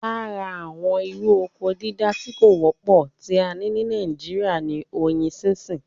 Lára àwọn irú oko dídá tí kò wọ́pọ̀ tí a ní ní nàìjíría ní oyin sínsìn